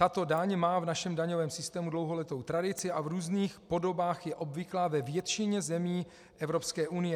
Tato daň má v našem daňovém systému dlouholetou tradici a v různých podobách je obvyklá ve většině zemí Evropské unie.